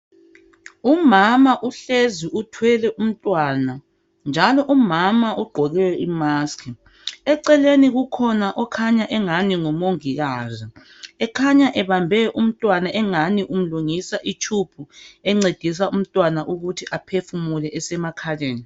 Umama uhlezi uthwele umntwana, njalo umama ugqoke imusk. . Eceleni kukhona okhanya engani ngumongikazi ekhanya ebambe umntwana engani umlungisa itshubhu encedisa umntwana ukuthi aphefumule esemakhaleni.